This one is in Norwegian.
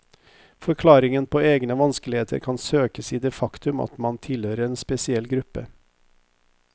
Forklaringen på egne vanskeligheter kan søkes i det faktum at man tilhører en spesiell gruppe.